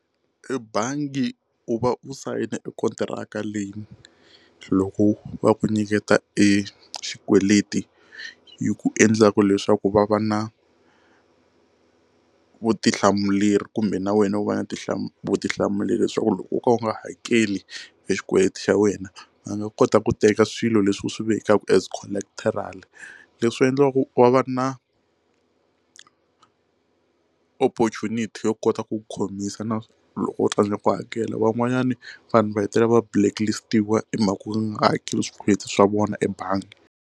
I bangi u va u sayina i kontiraka leyi loko va ku nyiketa exikweleteni hi ku endlaka leswaku va va na vutihlamuleri kumbe na wena u va na vutihlamuleri vutihlamuleri leswaku loko wo ka u nga hakeli xikweleti xa wena va nga kota ku teka swilo leswi u swi vekaka as collateral leswi endliwaku wa va na opportunity yo kota ku khomisa na loko u tsandzeka ku hakela van'wanyana vanhu va hetelela va blacklist-wa i mhaka u nga hakeli swikweleti swa vona ebangi.